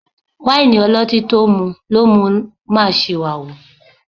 Wáìnì ọlọ́tín tó mú lo mú ń máa ṣìwàhù